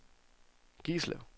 Gislev